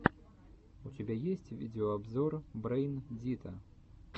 у тебя есть видеообзор брэйн дита